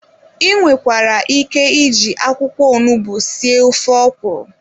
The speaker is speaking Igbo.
I nwekwara ike iji akwụkwọ onugbu sie ofe ọkwụrụ.